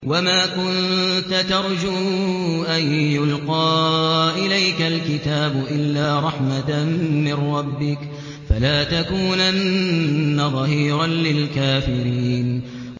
وَمَا كُنتَ تَرْجُو أَن يُلْقَىٰ إِلَيْكَ الْكِتَابُ إِلَّا رَحْمَةً مِّن رَّبِّكَ ۖ فَلَا تَكُونَنَّ ظَهِيرًا لِّلْكَافِرِينَ